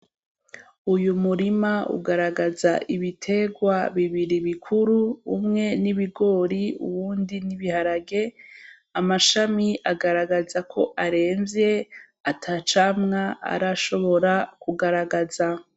Uyu murima ugaragaza ibiterwa bibiri bikuru ,umwe n'ibigori uwundi n'ibiharage, amashami agaragara ko aremvye atacamwa arashobora kugaragaraza.